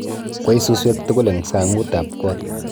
Kwey suswek tukul eng' sang'ut ab koot